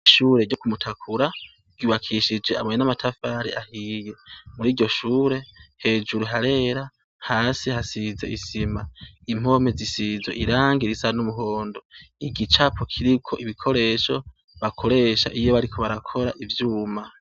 Ishure ryo kumutakura ibakishije aboye n'amatafare ahiye muri ryo shure hejuru harera hasi hasize isima impomi zisizo irange irisa n'umuhondo igicapo kiriko ibikoresho bakoresha iye bariko barakora ivyuma.